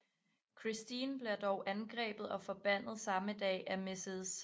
Christine bliver dog angrebet og forbandet samme aften af Mrs